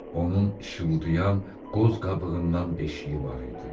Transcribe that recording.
Onun işıldayan qoz qabığından beşiyi var idi.